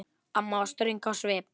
Amma var ströng á svip.